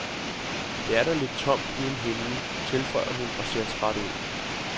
Det er da lidt tomt uden hende, tilføjer hun og ser træt ud.